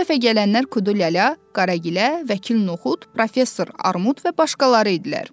Bu dəfə gələnlər Kudu Lələ, Qara Gilə, Vəkil Noxud, Professor Armud və başqaları idilər.